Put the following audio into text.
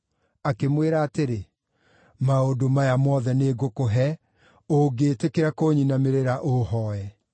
Akĩmwĩra atĩrĩ, “Maũndũ maya mothe nĩngũkũhe, ũngĩĩtĩkĩra kũnyinamĩrĩra ũũhooe.”